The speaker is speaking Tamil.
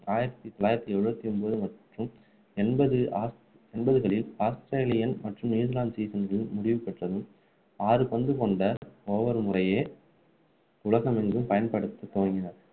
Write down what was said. ஆயிரத்து தொள்ளாயிரத்து எழுபத்து ஒன்பது மற்றும் எண்பது எண்பதுகளில் ஆஸ்திரேலியன் மற்றும் நியூசிலாந்து season கள் முடிவுபெற்றதும் ஆறு பந்து கொண்ட over முறையே உலகமெங்கும் பயன்படுத்த துவங்கினர்.